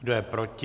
Kdo je proti?